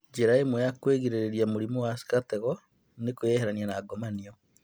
Njĩra imwe ya kũgirĩrĩria mũrimũ wa syphilis nĩ kũĩeherania na ngomanio